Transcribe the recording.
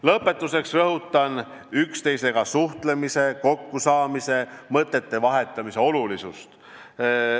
Lõpetuseks rõhutan üksteisega suhtlemise, kokkusaamise ja mõtete vahetamise olulisust.